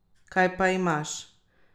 Kaj pa imaš?